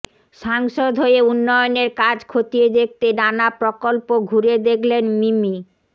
সাংসদ হয়ে উন্নয়নের কাজ খতিয়ে দেখতে নানা প্রকল্প ঘুরে দেখলেন মিমি